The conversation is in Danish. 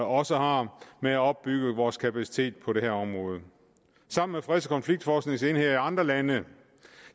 også har med at opbygge vores kapacitet på det her område sammen med freds og konfliktforskningsenheder i andre lande